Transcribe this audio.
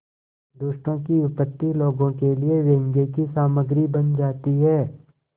दुष्टों की विपत्ति लोगों के लिए व्यंग्य की सामग्री बन जाती है